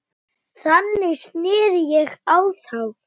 Þannig sneri ég á þá.